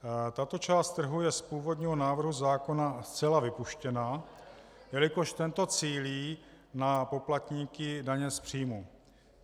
Tato část trhu je z původního návrhu zákona zcela vypuštěna, jelikož tento cílí na poplatníky daně z příjmu.